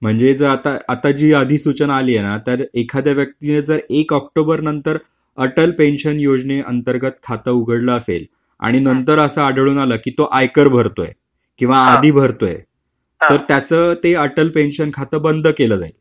म्हणजे आता जी यादी सूचना आली आहे ना, त्यात एखाद्या व्यक्तीने जर एक ऑक्टोबर नंतर अटल पेन्शन योजनेअंतर्गत खातं उघडलं असेल, आणि नंतर असं आढळून आलं की तो आयकर भरतोय, किंवा आदि भरतोय, तर त्याचं ते अटल पेन्शन खाते बंद केलं जाईल.